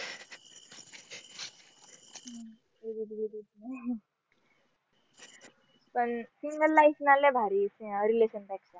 पण single life ना लई भारी या relationship पेक्षा